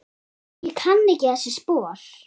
Ég kann ekki þessi spor.